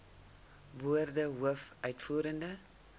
woorde hoof uitvoerende